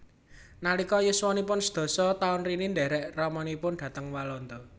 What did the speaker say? Nalika yuswanipun sedasa taun Rini ndhèrèk ramanipun dhateng Walanda